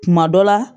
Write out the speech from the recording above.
Kuma dɔ la